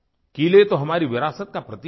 किले तो हमारी विरासत का प्रतीक हैं